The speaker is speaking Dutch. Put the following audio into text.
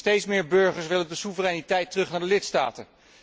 Steeds meer burgers willen de soevereiniteit terug naar de lidstaten.